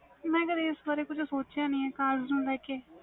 ਮੈਂ ਇਹਦੇ ਬਾਰੇ ਕੁਛ ਸੋਚਿਆ ਨਹੀਂ cars ਨੂੰ ਲੈਕੇ